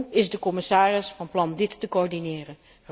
Hoe is de commissaris van plan dit te coördineren?